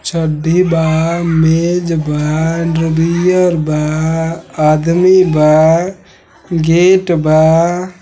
चड्डी बा मेज बा अंडरबियर बा आदमी बा गेट बा।